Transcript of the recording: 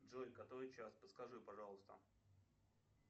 джой который час подскажи пожалуйста